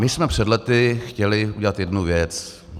My jsme před lety chtěli udělat jednu věc.